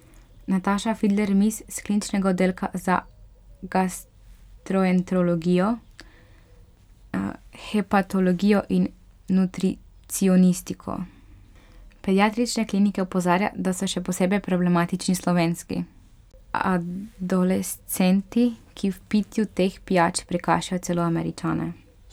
Nataša Fidler Mis, s kliničnega oddelka za gastroenterologijo, hepatologijo in nutricionistiko Pediatrične klinike opozarja, da so še posebej problematični slovenski adolescenti, ki v pitju teh pijač prekašajo celo Američane.